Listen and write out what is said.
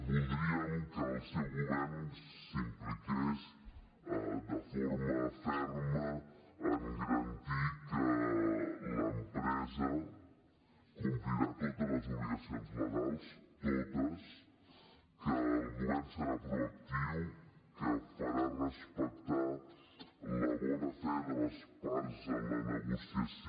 voldríem que el seu govern s’impliqués de forma ferma a garantir que l’empresa complirà totes les obligacions legals totes que el govern serà proactiu que farà respectar la bona fe de les parts en la negociació